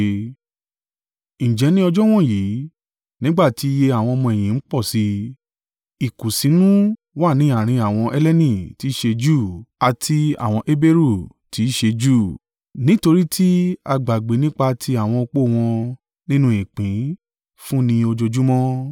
Ǹjẹ́ ní ọjọ́ wọ̀nyí, nígbà tí iye àwọn ọmọ-ẹ̀yìn ń pọ̀ sí i, ìkùnsínú wà ní àárín àwọn Helleni tí ṣe Júù àti àwọn Heberu tí ṣe Júù, nítorí tí a gbàgbé nípa ti àwọn opó wọn nínú ìpín fún ni ojoojúmọ́.